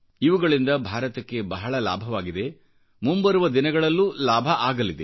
ಇವುಗಳಿಂದ ಭಾರತಕ್ಕೆ ಬಹಳ ಲಾಭವಾಗಿದೆ ಮುಂಬರುವ ದಿನಗಳಲ್ಲೂ ಲಾಭವಾಗಲಿದೆ